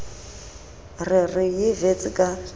re re ye wits ka